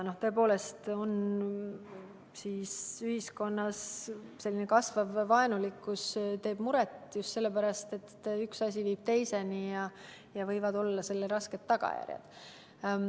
Tõepoolest, ühiskonnas kasvav vaenulikkus teeb muret just sellepärast, et üks asi viib teiseni ja sellel võivad olla rasked tagajärjed.